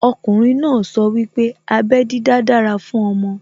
Okùnrin náà sọ wípé abẹ́ dídá dára fún ọmọ